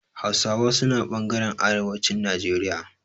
Hausawa suna ɓangaren arewacin Najeriya.